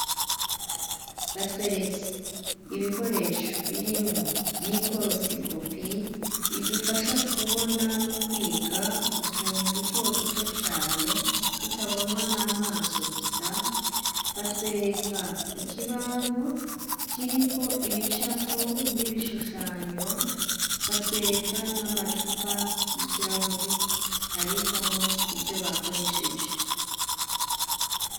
Batweretse ibikoresho birimwo mikorosikopi idufasha kubona no kwiga utuntu duto duto cane tutabonwa n'amaso gusa, batwereka ikibaho kiriko ibicapo n'ibishushanyo, batwereka n'amacupa y'ikirahuri abikwamo ivyo bakoresheje.